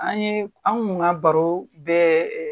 An ye , an kun ka baro bɛ